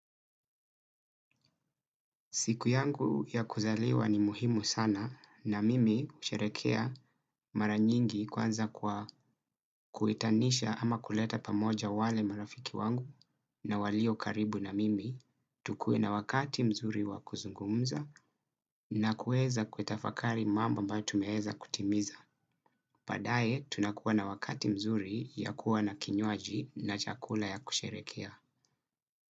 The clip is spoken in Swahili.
Siku yangu ya kuzaliwa ni muhimu sana na mimi usherekea mara nyingi kwanza kwa kuitanisha ama kuleta pamoja wale marafiki wangu na walio karibu na mimi. Tukue na wakati mzuri wa kuzungumza na kueza kuitafakari mambo ambayo tumeheza kutimiza. Padaye tunakuwa na wakati mzuri ya kuwa na kinyuaji na chakula ya kusherekea.